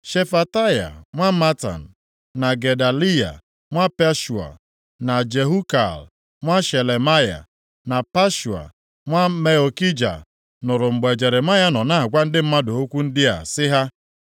Shefataya nwa Matan, na Gedaliya nwa Pashua, na Jehukal + 38:1 Maọbụ, Jukal nwa Shelemaya, na Pashua, nwa Malkija, nụrụ mgbe Jeremaya nọ na-agwa ndị mmadụ okwu ndị a sị ha,